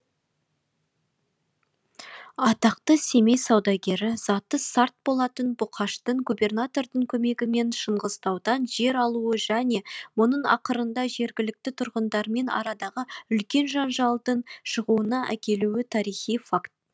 атақты семей саудагері заты сарт болатын бұқаштың губернатордың көмегімен шыңғыстаудан жер алуы және мұның ақырында жергілікті тұрғындармен арадағы үлкен жанжалдың шығуына әкелуі тарихи факт